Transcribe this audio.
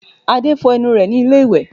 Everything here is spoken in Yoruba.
Adé fọ ẹnu rẹ ní ilé ìwẹ̀